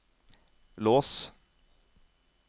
lås